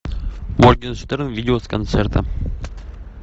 моргенштерн видео с концерта